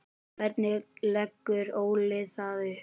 Hvernig leggur Óli það upp?